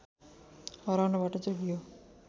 हराउनबाट जोगियो